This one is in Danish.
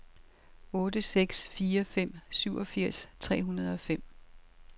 otte seks fire fem syvogfirs tre hundrede og fem